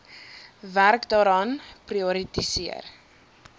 werk daaraan prioritiseer